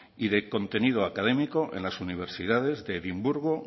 y de contenido académico en las universidades de edimburgo